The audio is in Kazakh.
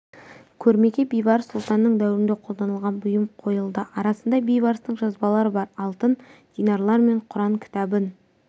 көрмеге бейбарыс сұлтанның дәуірінде қолданылған бұйым қойылды арасында бейбарыстың жазбалары бар алтын динарлар мен құран кітабын